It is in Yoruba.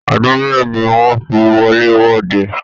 Ọdún mélòó ní wọn fí wọlé-wọdè?